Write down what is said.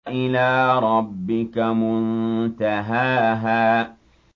إِلَىٰ رَبِّكَ مُنتَهَاهَا